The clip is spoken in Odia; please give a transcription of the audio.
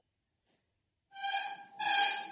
noise